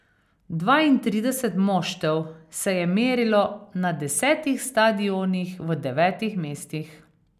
Dvaintrideset moštev se je merilo na desetih stadionih v devetih mestih.